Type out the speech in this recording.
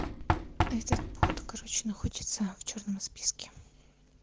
этот вот короче находится в чёрном списке